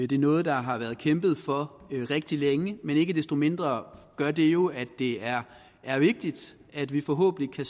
det er noget der har været kæmpet for rigtig længe men ikke desto mindre gør det jo at det er vigtigt at vi forhåbentlig